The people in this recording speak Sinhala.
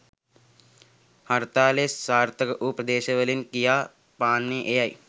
හර්තාලය සාර්ථක වූ ප්‍රදේශවලින් කියා පාන්නේ එයයි.